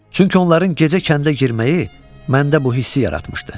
Çünki onların gecə kəndə girməyi məndə bu hissi yaratmışdı.